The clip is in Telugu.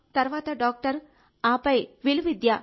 తరువాత డాక్టర్ ఆపై విలువిద్య